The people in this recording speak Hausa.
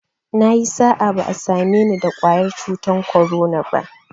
Nayi sa'a, ba'a same ni da ƙwayar cutar korona ba